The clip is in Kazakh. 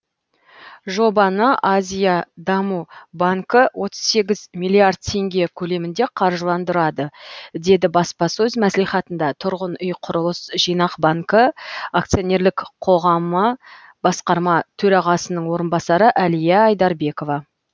жобаны азия даму банкі отыз сегіз миллиард теңге көлемінде қаржыландырады деді баспасөз мәслихатында тұрғын үй құрылыс жинақ банкі акционерлік қоғамы басқарма төрағасының орынбасары әлия айдарбекова